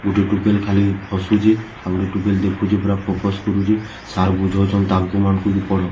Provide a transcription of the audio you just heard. ଗୁଟେ ଟୁକେଲ ଖାଲି ହସୁଛେ ଆଉ ଗୁଟେ ଟୁକେଲ୍‌ ଦେଖୁଛେ ପୁରା ଫୋକସ କରୁଛେ ସାର୍‌ ବୁଝଉଛନ୍‌ ତାଙ୍କୁ ମାନଙ୍କୁ ବି ପଢ ।